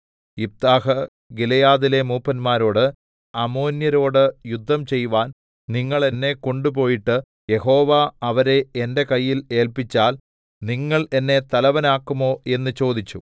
യിഫ്താഹ് ഗിലെയാദിലെ മൂപ്പന്മാരോട് അമ്മോന്യരോട് യുദ്ധം ചെയ്‌വാൻ നിങ്ങൾ എന്നെ കൊണ്ടുപോയിട്ട് യഹോവ അവരെ എന്റെ കയ്യിൽ ഏല്പിച്ചാൽ നിങ്ങൾ എന്നെ തലവനാക്കുമോ എന്ന് ചോദിച്ചു